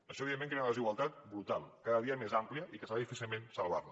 això evidentment crea una desigualtat brutal cada dia més àmplia i que serà difícil salvar la